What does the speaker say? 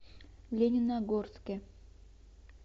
лениногорске